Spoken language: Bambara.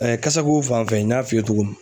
kasako fan fɛ n y'a f'i ye cogo min